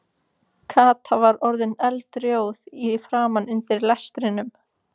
Kata var orðin eldrjóð í framan undir lestrinum.